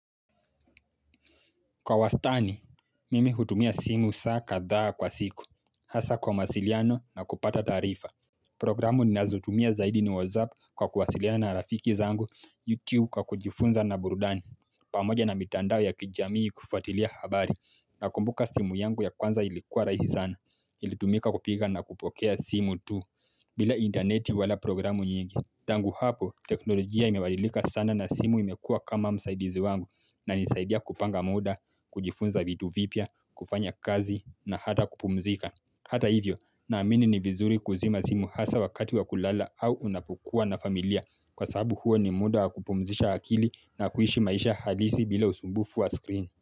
Kwa wastani, mimi hutumia simu saa kadhaa kwa siku, hasa kwa mawasiliano na kupata tarifa. Programu ninazotumia zaidi ni WhatsApp kwa kuwasiliana na rafiki zangu, YouTube kwa kujifunza na burudani, pamoja na mitandao ya kijamii kufuatilia habari, nakumbuka simu yangu ya kwanza ilikuwa rahisi sana, ilitumika kupika na kupokea simu tu, bila interneti wala programu nyingi, tangu hapo teknolojia imebadilika sana na simu imekua kama msaidizi wangu inanisaidia kupanga muda, kujifunza vitu vipya, kufanya kazi na hata kupumzika. Hata hivyo, naamini ni vizuri kuzima simu hasa wakati wa kulala au unapokua na familia kwa sababu huo ni muda wa kupumzisha akili na kuishi maisha halisi bila usumbufu wa screen.